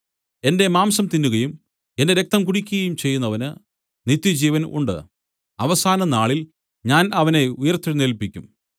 എന്റെ മാംസം തിന്നുകയും എന്റെ രക്തം കുടിക്കുകയും ചെയ്യുന്നവന് നിത്യജീവൻ ഉണ്ട് അവസാന നാളിൽ ഞാൻ അവനെ ഉയിർത്തെഴുന്നേല്പിക്കും